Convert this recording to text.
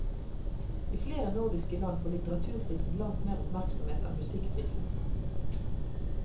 I flere nordiske land får litteraturprisen langt mer oppmerksomhet enn musikkprisen.